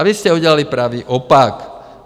A vy jste udělali pravý opak.